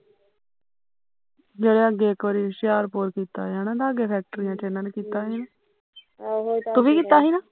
ਦੇਖਲਾ ਇੱਕ ਵਾਰੀ ਏਨੀ ਕੀਤਾ ਸੀ ਨਾ ਹੁਸ਼ਿਆਰਪੁਰ ਲਾਗੇ ਕੀਤਾ ਸੀ ਨਾ ਤੂੰ ਵੀ ਕੀਤਾ ਸੀਣਾ